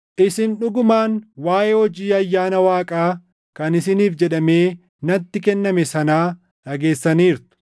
Isin dhugumaan waaʼee hojii ayyaana Waaqaa kan isiniif jedhamee natti kenname sanaa dhageessaniirtu;